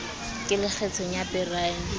ke le kgethong ya beryl